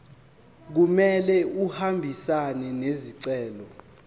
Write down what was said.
kumele ahambisane nesicelo